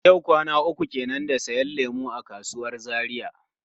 Yau kwana uku kenan da siyan lemu a kasuwar Zaria.